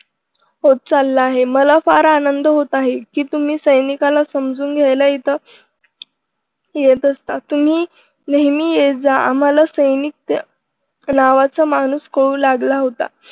होत चालला आहे मला फार आनंद होत आहे कि तुम्ही सैनिकाला समजून घ्यायला इथं येत असत या तुम्ही नेहमी येत जा आम्हाला सैनिक लावला माणूस कळू लागला होता.